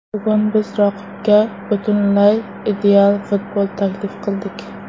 Bugun biz raqibga butunlay ideal futbol taklif qildik.